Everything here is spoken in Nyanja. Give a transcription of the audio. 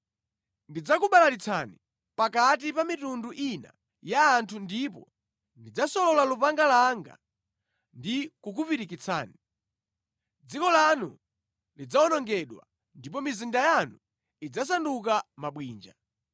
Ndidzakubalalitsani pakati pa mitundu ina ya anthu ndipo ndidzasolola lupanga langa ndi kukupirikitsani. Dziko lanu lidzawonongedwa, ndipo mizinda yanu idzasanduka mabwinja.